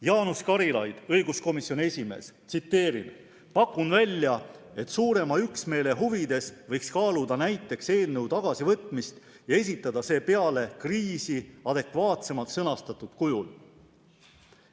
" Jaanus Karilaid, õiguskomisjoni esimees, on öelnud: "Pakun välja, et suurema üksmeele huvides võiks kaaluda näiteks eelnõu tagasivõtmist ja esitada see peale kriisi adekvaatsemalt sõnastatud kujul.